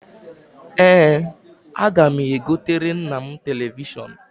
Ee, aga m egotere nna m telivishọn.